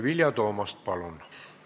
Vilja Toomast, palun!